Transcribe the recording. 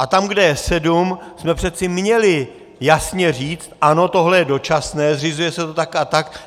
A tam, kde je sedm, jsme přece měli jasně říct ano, tohle je dočasné, zřizuje se to tak a tak.